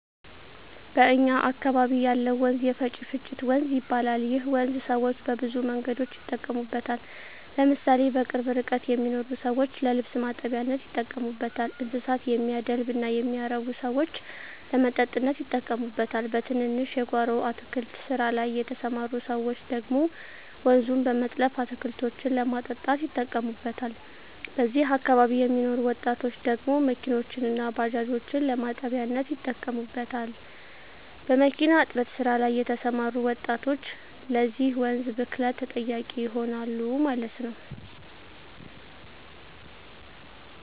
በእኛ አካበቢ ያለው ወንዝ የፈጭፍጭት ወንዝ ይባላል ይህ ወንዝ ሰወች በብዙ መንገዶች ይጠቀሙበታል ለምሳሌ በቅርብ ርቀት የሚኖሩ ሰወች ለልብስ ማጠቢያነት ይጠቀሙበታል: እንስሳት የሚያደልብ እና የሚያረብ ሰወች ለመጠጥነት ይጠቀሙበታል በትንንሽ የጎሮ አትክልት ስራ ላይ የተስማሩ ሰወች ደግሞ ወንዙን በመጥለፍ አትክልቶችን ለማጠጣት ይጠቀሙታል በዚህ አካባቢ የሚኖሩ ወጣቶች ደግሞ መኪኖችን እና ባጃጆችን ለማጠቢያነት ይጠቀሙበታል። በሚኪና እጥበት ስራ ላይ የተሰማሩ ወጣቶች ለዚህ ወንዝ ብክለት ተጠያቂ ይሆናሉ ማለት ነው